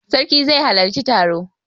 Sarki zai halarci taro.